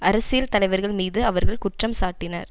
அரசியல் தலைவர்கள் மீது அவர்கள் குற்றம் சாட்டினர்